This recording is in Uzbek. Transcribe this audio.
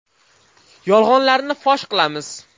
Yolg‘onlarni fosh qilamiz.